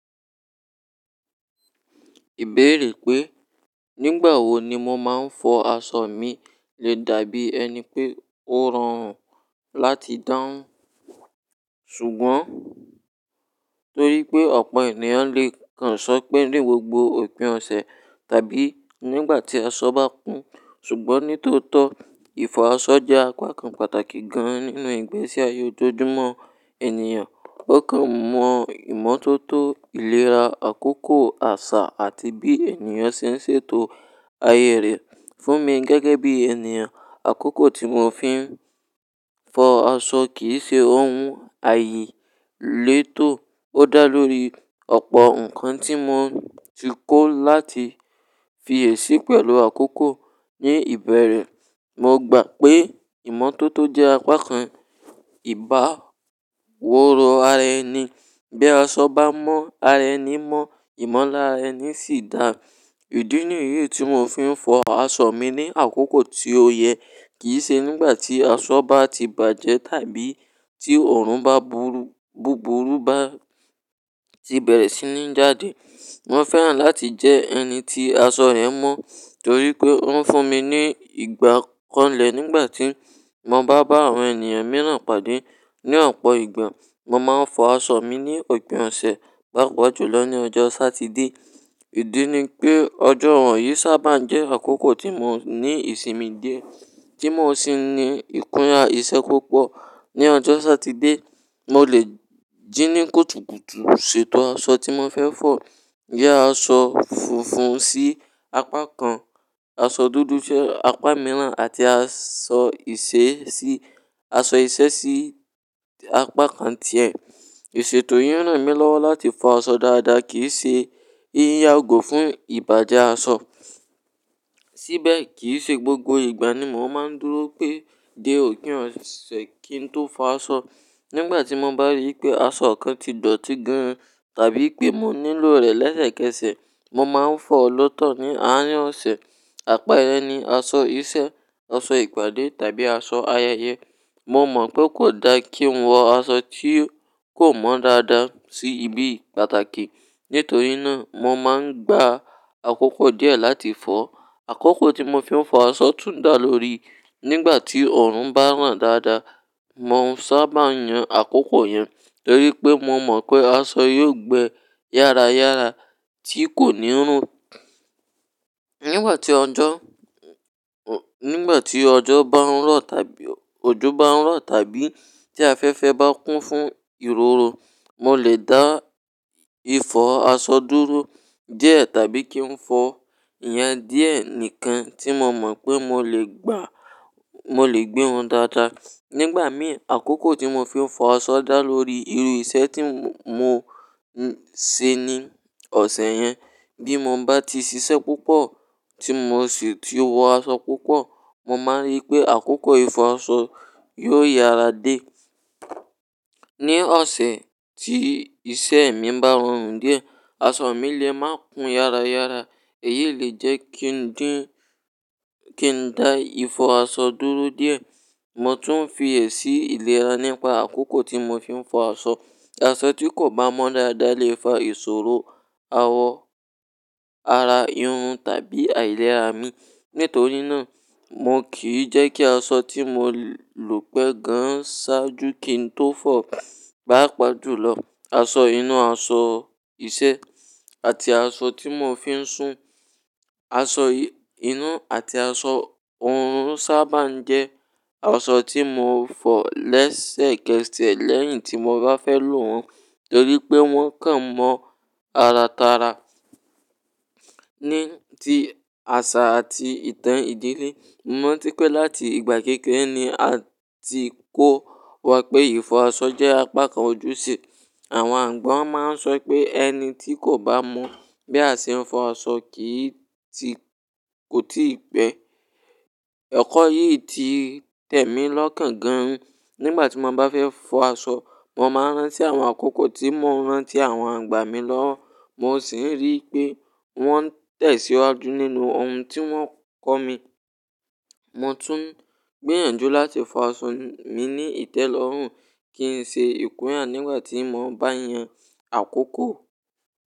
Ìbéèrè pé, nígbà wo ni mo máa ń fọ aṣọ mi lè dàbí ẹni pé ó rọrùn láti dáhùn. Ṣùgbọ́n, torí pé ọ̀pọ̀ ènìyàn lè kàn sọ pé ní gbogbo òpin ọ̀sẹ̀ tàbí nígbà tí aṣọ bá kún. Ṣùgbọ́n ní tótọ́, ìfọ̀ aṣọ jẹ́ apá kan pàtàkì gan-an nínú ìgbésí ayé ojoojúmọ́ ènìyàn. Ó kàn mọ ìmọ́tótó ìlera, àkókò, àṣà àti bí ènìyàn ṣe ń ṣètò ayé rẹ̀. Fún mi gẹ́gẹ́ bí ènìyàn, àkókò tí mo fi ń fọ aṣọ kì í ṣe ohun àìyélétò. Ó dá lórí ọ̀pọ̀ ǹkan tí mo ti kó láti fi èsí pẹ̀lú àkókò. Ní ìbẹ̀rẹ̀, mo gbà pé ìmọ́tótó jẹ́ apá kan ìbá wóru ara ẹni. Bí aṣọ bá mọ́ ara ẹni, mọ ìmọ̀lára ẹni sì dà. Ìdí nìyí tí mo fi ń fọ aṣọ mi ní àkókò tí ó yẹ kì í ṣe nígbà tí aṣọ bá ti bàjẹ́ tàbí tí ọ̀run bá búburú bá ti bẹ̀rẹ̀ sí ní jáde. Mo fẹ́ràn láti jẹ ẹni tí aṣọ rẹ̀ mọ́ torí pé ó ń fún mi ní ìgbà kọ́lẹ̀ nígbà tí mo bá bá àwọn ènìyàn mìíràn pàdé. Ní ọ̀pọ̀ ìgbà, mo máa ń fọ aṣọ mi ní òpin ọ̀sẹ̀, gbajú-gbajù lọ ní ọjọ́ Satidé. Ìdí ni pé ọjọ́ ọ̀run yìí sábà ń jẹ́ àkókò tí mo ní ìsinmi díẹ̀ tí mo sì ní ìkúnra iṣẹ́ púpọ̀. Ní ọjọ́ Satidé, mo lè jí ní kùtùkùtù ṣètò aṣọ tí mo fẹ́ fọ̀. Gẹ́ aṣọ funfun sí apá kan, aṣọ dúdú sí apá mìíràn àti aṣọ iṣẹ́ sí apá kan ti ẹ̀. Ìṣètò yìí ń ràn mí lọ́wọ́ láti fọ aṣọ dáadáa kì í ṣe ìyàgò fún ìbàjẹ́ aṣọ. Síbẹ̀, kì í ṣe gbogbo ìgbà ni mo máa ń dúró pé dé òpin ọ̀sẹ̀ kí n tó fọ aṣọ. Nígbà tí mo bá rí i pé aṣọ kan ti dọ̀tí gan-an tàbí pé mo nílò rẹ̀ lẹ́sẹ̀kẹsẹ̀, mo máa ń fọ̀ ọ́ lótọ̀ ní àárín ọ̀sẹ̀. Àpá ẹlẹ́ni, aṣọ iṣẹ́, aṣọ ìpàdé tàbí aṣọ ayẹyẹ, mo mọ̀ pé kò da kí n wọ aṣọ tí kò mọ́ dáadáa sí ibi pàtàkì. Nítorí náà, mo máa ń gba àkókò díẹ̀ láti fọ̀. Àkókò tí mo fi ń fọ aṣọ tún dà lórí nígbà tí ọ̀run bá ràn dáadáa. Mo sábà yàn àkókò yẹn torí pé mo mọ̀ pé aṣọ yóò gbẹ yára yára tí kò ní rùn. Nígbà tí ọjọ́, n-nígbà tí ọjọ́ bá ń rọ̀ tàbí ojú bá ń rọ̀ tàbí tí afẹ́fẹ́ bá kún fún ìroro, mo lè dá ìfọ̀ aṣọ dúró díẹ̀ tàbí kí n fọ èyàn díẹ̀ nìkan tí mo mọ̀ pé mo lè gbà, mo lè gbé wọn dáadáa. Nígbà mìíràn, àkókò tí mo fi ń fọ aṣọ dà lórí irú iṣẹ́ tí mo ń ṣe ní ọ̀sẹ̀ yẹn. Bí mo bá ti ṣiṣẹ́ púpọ̀ tí mo sì ti wọ aṣọ púpọ̀, mo máa rí i pé àkókò ìfọ aṣọ yóò yára dé. Ní ọ̀sẹ̀ tí iṣẹ́ mi bá rọrùn díẹ̀, aṣọ mi lè má kun yára yára. Èyí lè jẹ́ kí n dá ìfọ aṣọ dúró díẹ̀. Mo tún fi èsì ìlera nípa àkókò tí mo fi ń fọ aṣọ. Aṣọ tí kò bá mọ́ dáadáa lè fa ìṣòro, awọ ara yun tàbí àìlera mi. Nítorí náà, mo kì í jẹ́ kí aṣọ tí mo lò pẹ́ gan sáájú kí n tó fọ̀, gbajú-gbajù lọ aṣọ inú, aṣọ iṣẹ́ àti aṣọ tí mo fi ń sùn. Aṣọ inú àti aṣọ òórùn sábà ń jẹ́ aṣọ tí mo fọ̀ lẹ́sẹ̀kẹsẹ̀ lẹ́yìn tí mo bá fẹ́ lò wọ́n torí pé wọ́n kàn mọ́ ara tara. Ní ti àṣà àti ìtàn ìdílé, mo rántí pé láti ìgbà kékeré ni a ti kó wa pé ìfọ aṣọ jẹ́ apá kan ojúṣe. Àwọn àgbà máa ń sọ pé ẹni tí kò bá mọ̀ bí a ṣe ń fọ aṣọ kì í ti, kò tí ì pẹ́. Ẹ̀kọ́ yìí ti tẹ̀ mí lọ́kàn gan-an. Nígbà tí mo bá fẹ́ fọ aṣọ, mo máa rán sí àwọn àkókò tí mo rántí àwọn àgbà mi lọ́wọ́. Mo sì ń rí i pé wọ́n tẹ̀síwájú nínú ohun tí wọ́n kọ́ mi. Mo tún ń gbèràn jú láti fọ aṣọ mi ní ìtẹ́lọ́rùn kí n ṣe ìkúnra nígbà tí mo bá yàn àkókò.